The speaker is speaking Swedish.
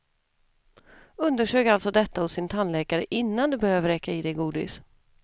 Undersök alltså detta hos din tandläkare innan du börjar vräka i dig godis.